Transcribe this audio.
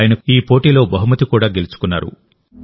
ఆయన కూడా ఈ పోటీలో బహుమతి కూడా గెలుచుకున్నారు